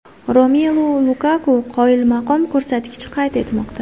Romelu Lukaku qoyilmaqom ko‘rsatkich qayd etmoqda.